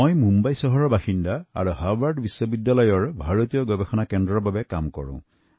মই মুম্বাইৰ বাসিন্দা আৰু হাভাৰ্ড বিশ্ববিদ্যালয়ৰ পৰা ভাৰতীয় গৱেষণা কেন্দ্ৰৰ সৈতে জড়িত